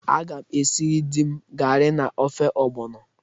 Aga m esiri di m gari na ofe ogbono.